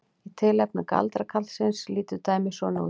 Í tilfelli galdrakarlsins lítur dæmið svona út: